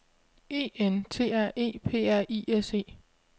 E N T R E P R I S E